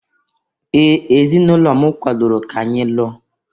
Ee! Ezinụlọ m kwadoro ka anyị lụọ.